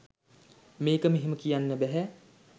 මේක මෙහෙම කියන්න බැහැ